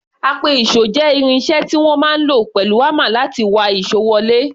Apẹ-ìṣò jẹ́ irin iṣẹ́ tí wọ́n máa ń lò pẹ̀lú hámà láti wa ìṣó wọlé.